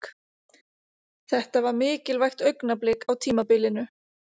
Þetta var mikilvægt augnablik á tímabilinu.